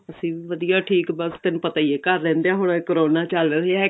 ਅਸੀਂ ਵੀ ਵਧੀਆ ਠੀਕ ਬੱਸ ਤੈਨੂੰ ਪਤਾ ਹੀ ਏ ਘਰ ਰਹਿੰਦੇਆਂ ਹੁਣ ਕਰੋਨਾ ਚੱਲ ਰਿਹਾ ਹੈਗਾ